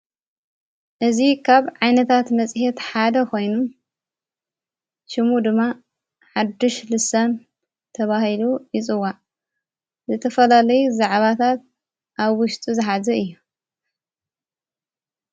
እዙ ኻብ ዓይነታት መጺሐት ሓደ ኾይኑ ሽሙ ድማ ሓድሽ ልሳም ተብሂሉ ይጽዋ ዘተፈላለይ ዘዕባታት ኣብ ውሽጡ ዘኃዘ እዩ።